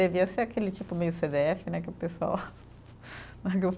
Devia ser aquele tipo meio cê dê efe, né, que o pessoal